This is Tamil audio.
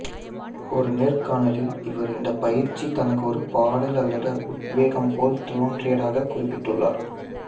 ஒரு நேர் காணலில் அவர் இந்த பயிற்சி தனக்கு ஒரு பாடல் அல்லது உத்வேகம் போல் தோன்றியதாக குறிப்பிட்டுள்ளார்